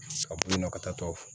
A b'u nɔ ka taa tɔw fɛ